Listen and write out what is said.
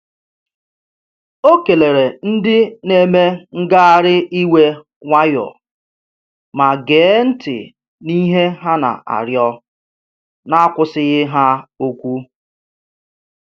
Ọ keleere ndị na-eme ngagharị iwe nwayọọ ma gee ntị n’ihe ha na-arịọ n'akwụsịghị ha okwu.